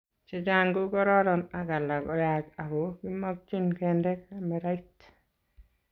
chechang ko kororon ak alak koyach ako kimakchin kende kamerait